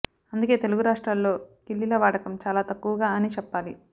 అందుకే తెలుగు రాష్ట్రాల్లో కిల్లీల వాడకం చాలా తక్కువగా అని చెప్పాలి